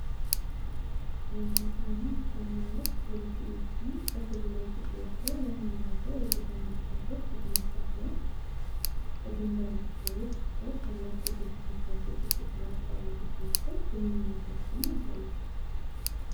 የኢትዮጵያ እና የሱዳን መሪዎች በሁለትዮሽ ወይም በክልላዊ ጉዳዮች ላይ ለመነጋገር በተገናኙበት ወቅት የተነሳ ሲሆን፣ ከድንበር ጉዳዮች እስከ ታላቁ የኢትዮጵያ ህዳሴ ግድብ (GERD) ድረስ ባሉ ጉዳዮች ላይ ግንኙነታቸውን ያሳያል።